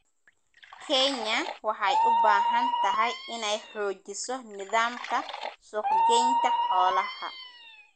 Kenya waxay u baahan tahay inay xoojiso nidaamka suuq-geynta xoolaha.